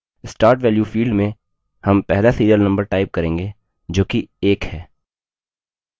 start value field में हम पहला serial number type करेंगे जो कि 1 है